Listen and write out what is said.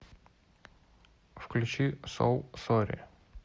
включи соу сорри